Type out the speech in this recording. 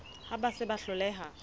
ha ba se ba hloleha